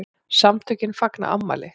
SAMTÖKIN FAGNA AFMÆLI